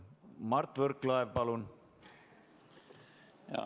Mart Võrklaev, palun!